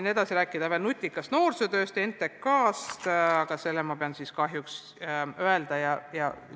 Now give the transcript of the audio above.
Ma tahtsin rääkida veel nutikast noorsootööst ja NTK-st, aga selle pean ma kahjuks kõrvale jätma.